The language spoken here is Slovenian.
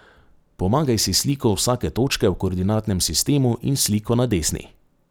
Pomagaj si s sliko vsake točke v koordinatnem sistemu in s sliko na desni.